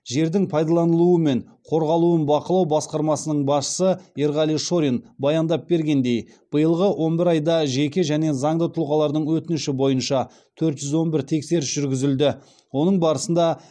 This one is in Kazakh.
жердің пайдаланылуы мен қорғалуын бақылау басқармасының басшысы ерғали шорин баяндап бергендей биылғы он бір айда жеке және заңды тұлғалардың өтініші бойынша төрт жүз он бір тексеріс жүргізілді оның барысында